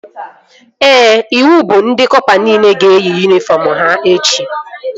Ee, iwu bụ na ndị kọpa nile ga-eyi yunifọm ha echi